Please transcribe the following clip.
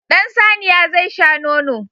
Ɗan saniya zai sha nono.